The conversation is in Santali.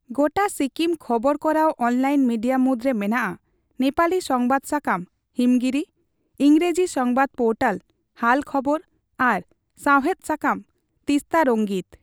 ᱜᱚᱴᱟ ᱥᱤᱠᱤᱢ ᱠᱷᱚᱵᱚᱨ ᱠᱚᱨᱟᱣ ᱚᱱᱞᱟᱭᱤᱱ ᱢᱤᱰᱤᱭᱟ ᱢᱩᱫᱨᱮ ᱢᱮᱱᱟᱜᱼᱟ ᱱᱮᱯᱟᱞᱤ ᱥᱚᱝᱵᱟᱫ ᱥᱟᱠᱟᱢ ᱦᱤᱢᱜᱤᱨᱤ, ᱤᱝᱨᱮᱡᱤ ᱥᱚᱝᱵᱟᱫ ᱯᱳᱨᱴᱚᱞ ᱦᱟᱞ ᱠᱷᱚᱵᱚᱨ ᱟᱨ ᱥᱟᱣᱦᱮᱫ ᱥᱟᱠᱟᱢ ᱛᱤᱥᱛᱟᱨᱚᱝᱜᱤᱛ ᱾